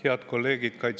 Head kolleegid!